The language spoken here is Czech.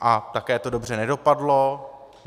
A také to dobře nedopadlo.